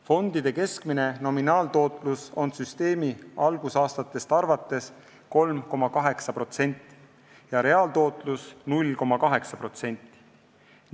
Fondide keskmine nominaaltootlus on süsteemi algusaastatest arvates 3,8% ja reaaltootlus 0,8%.